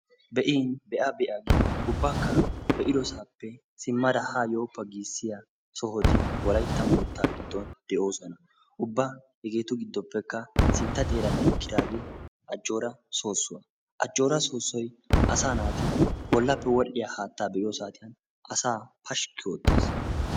Be"in be"a be"a giya ubbakka be"idosaappe simmada haa yooppa giisiya sohoti wolaytta moottaa giddon de"oosona. Ubba hegeetu giddoppekka sintta xeeran eqqiyaage ajjoora soosuwa. Ajjoora soosoy asaa naati bollappe wodhiya haattaa be"iyoo saatiyan asaa pashki oottees.